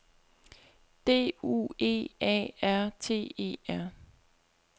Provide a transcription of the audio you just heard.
D U E A R T E R